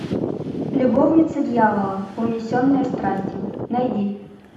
любовница дьявола унесенные страстью найди